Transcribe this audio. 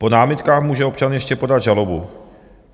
Po námitkách může občan ještě podat žalobu.